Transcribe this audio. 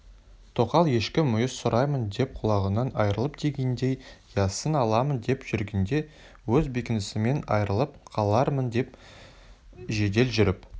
тоқал ешкі мүйіз сұраймын деп құлағынан айырылыптыдегендей яссыны аламын деп жүргенде өз бекінісімнен айырылып қалармын деп жедел жүріп